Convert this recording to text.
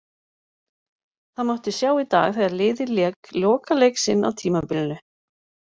Það mátti sjá í dag þegar liðið lék lokaleik sinn á tímabilinu.